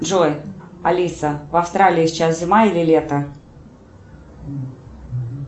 джой алиса в австралии сейчас зима или лето